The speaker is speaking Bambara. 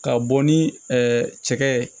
Ka bɔ ni cɛkɛ ye